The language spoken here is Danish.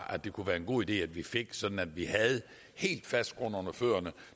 kunne være en god idé vi fik sådan at vi havde helt fast grund under fødderne